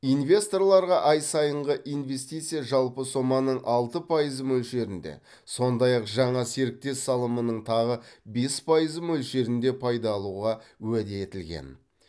инвесторларға ай сайынғы инвестиция жалпы соманың алты пайызы мөлшерінде сондай ақ жаңа серіктес салымының тағы бес пайызы мөлшерінде пайда алуға уәде етілген